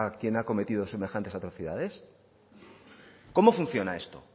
quien ha cometido semejantes atrocidades cómo funciona esto